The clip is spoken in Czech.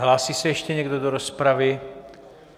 Hlásí se ještě někdo do rozpravy?